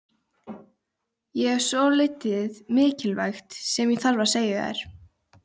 Ég hef svolítið mikilvægt sem ég þarf að segja þér.